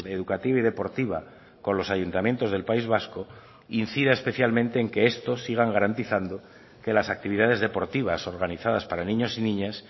educativa y deportiva con los ayuntamientos del país vasco incida especialmente en que estos sigan garantizando que las actividades deportivas organizadas para niños y niñas